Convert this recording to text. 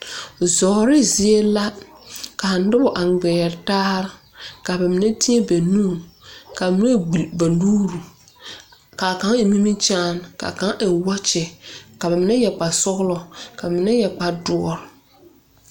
Zouri zie la ka nuba a ngmiree taare ka ba menne teɛ ba nuuri ka menne gbol ba nuuri kaa kanga en nimikyaan ka kanga en wɔkyi ka ba menne yɛre kpare sɔglo ka menne yɛre kpare dɔri.